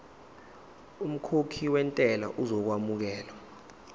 umkhokhi wentela uzokwamukelwa